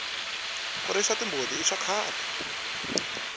ku risa timbuti hi swa khale